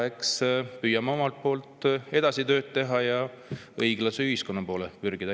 Eks püüame omalt poolt edasi tööd teha ja õiglase ühiskonna poole pürgida.